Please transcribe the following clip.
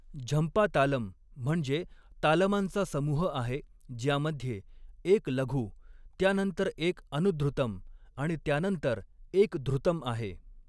झंपा तालम म्हणजे तालमांचा समूह आहे, ज्यामध्ये एक लघु, त्यानंतर एक अनुधृतम आणि त्यानंतर एक धृतम आहे.